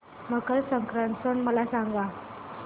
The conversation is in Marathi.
मकर संक्रांत सण मला सांगा